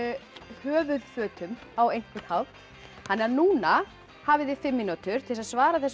höfuðfötum á einhvern hátt núna hafið þið fimm mínútur til þess að svara þessum